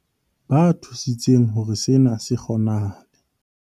Ba thusitseng hore sena se kgonahale